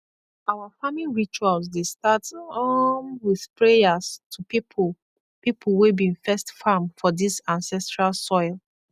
our farming rituals dey start um with prayers to people people wey been first farm for this ancestral soil